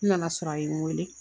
N nana sɔrɔ a ye n weele